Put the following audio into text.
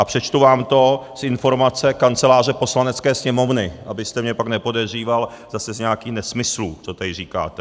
A přečtu vám to z informace Kanceláře Poslanecké sněmovny, abyste mě pak nepodezříval zase z nějakých nesmyslů, co tady říkáte.